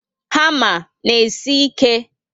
Hama na esi ike